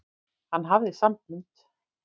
Hann hafði sambönd.